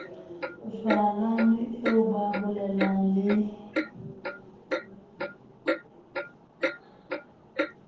jwalane eo ba bolelang le